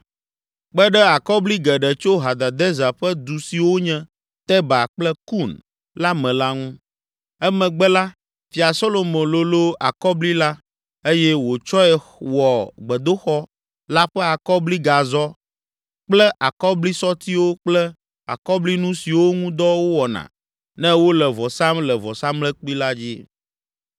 kpe ɖe akɔbli geɖe tso Hadadezer ƒe du siwo nye Teba kple Kun la me la ŋu. Emegbe la, Fia Solomo lolo akɔbli la eye wòtsɔe wɔ gbedoxɔ la ƒe akɔbligazɔ kple akɔblisɔtiwo kple akɔblinu siwo ŋu dɔ wowɔna ne wole vɔ sam le vɔsamlekpui la dzi.